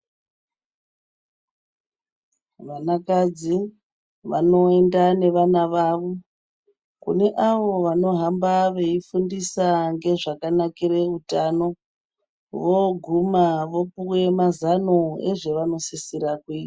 Vana kadzi vanoenda nevana vavo kune avo vano hamba veifundisa ngezvakanakira hutano voguma vopiwe mazano ezvanosasira kuita.